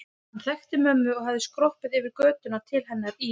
Hann þekkti mömmu og hafði skroppið yfir götuna til hennar í